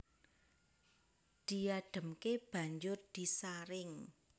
Diadhemke banjur disaring